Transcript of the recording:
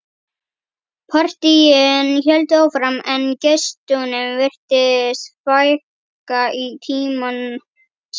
Partíin héldu áfram en gestunum virtist fækka í tímans rás.